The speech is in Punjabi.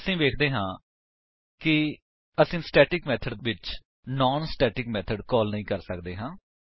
ਅਸੀ ਵੇਖਦੇ ਹਾਂ ਕਿ ਅਸੀ ਸਟੇਟਿਕ ਮੇਥਡ ਵਿੱਚ ਨਾਨ ਸਟੇਟਿਕ ਮੇਥਡ ਕਾਲ ਨਹੀਂ ਕਰ ਸੱਕਦੇ ਹਾਂ